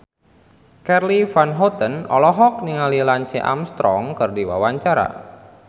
Charly Van Houten olohok ningali Lance Armstrong keur diwawancara